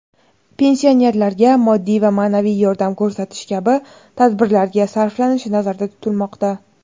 pensionerlarga moddiy va maʼnaviy yordam ko‘rsatish kabi tadbirlarga sarflanishi nazarda tutilmoqda.